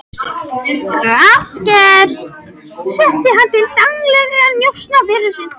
Hallkel setti hann til daglegra njósna fyrir sig.